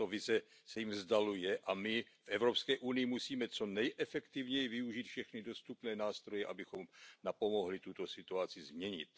Tato vize se jim vzdaluje a my v EU musíme co nejefektivněji využít všechny dostupné nástroje, abychom napomohli tuto situaci změnit.